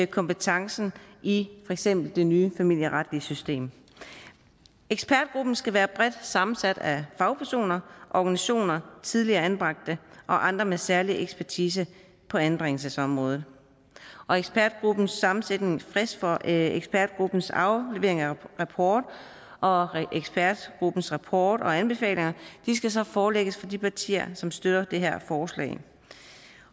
kompetencen i for eksempel det nye familieretlige system ekspertgruppen skal være bredt sammensat af fagpersoner organisationer tidligere anbragte og andre med særlig ekspertise på anbringelsesområdet og ekspertgruppens sammensætning frist for ekspertgruppens aflevering af rapport og ekspertgruppens rapport og anbefalinger skal så forelægges for de partier som støtter det her forslag